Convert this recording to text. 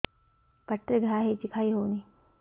ପାଟିରେ ଘା ହେଇଛି ଖାଇ ହଉନି